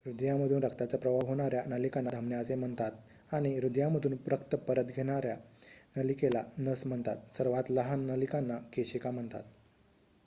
हृदयामधून रक्ताचा प्रवाह होणार्‍या नलिकांना धमन्या असे म्हणतात आणि हृदयामधून रक्त परत येणार्‍या नलिकेला नस म्हणतात सर्वात लहान नलिकांना केशिका म्हणतात